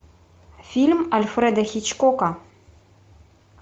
фильм альфреда хичкока